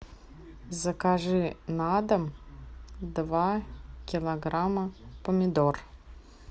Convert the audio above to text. закажи на дом два килограмма помидор